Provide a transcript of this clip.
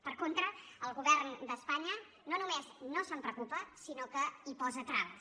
per con·tra el govern d’espanya no només no se’n preocupa sinó que hi posa traves